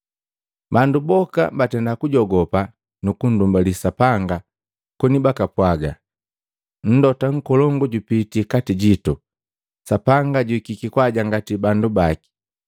Bandu boka batenda kujogopa nukundumbali Sapanga koni bakapwaga, “Mlota nkolongu jupitii kati jitu. Sapanga juhikiki kwaajangati bandu baki.”